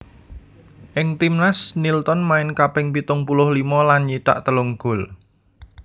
Ing timnas Nilton main kaping pitung puluh limo lan nyithak telung gol